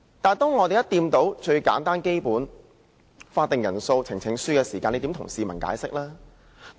但一旦觸及最簡單和最基本關乎法定人數和呈請書的規定，又如何向市民解釋呢？